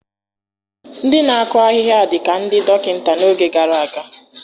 Ndị na-akụ ahịhịa dị ka ndị dọkịta n'oge gara aga.